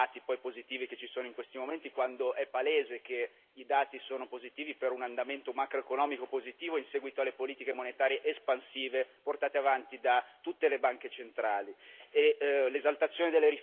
meritevole dai dati positivi che ci sono in questi momenti, quando è palese che i dati sono positivi per un andamento macroeconomico positivo in seguito alle politiche monetarie espansive portate avanti da tutte le banche centrali.